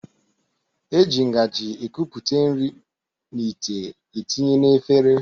E ji ngaji ekupụta nri n'ite etinye na efere